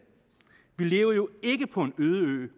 bliver jo den